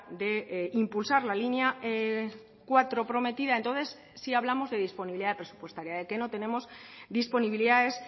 de impulsar la línea cuatro prometida entonces sí hablamos de disponibilidad presupuestaria de que no tenemos disponibilidades